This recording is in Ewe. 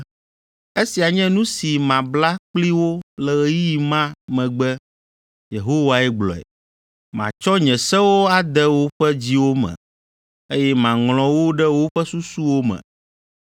“Esia nye nu si mabla kpli wo le ɣeyiɣi ma megbe, Yehowae gblɔe. Matsɔ nye sewo ade woƒe dziwo me, eye maŋlɔ wo ɖe woƒe susuwo me.”